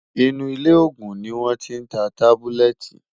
inú ilé ògún ní wón tí n tá tábúlẹ́tì